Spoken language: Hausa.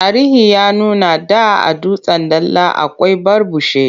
Tarihi ya nuna da a Dutsen Dala akwai Barbushe.